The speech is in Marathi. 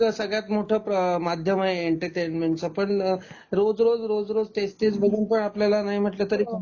तो एक सगळ्यात मोठा माध्यम आहे एंटरटेनमेंटच पण रोज रोज रोज रोज तेच तेच बघूनपण आपल्याला नाही म्हणल तरी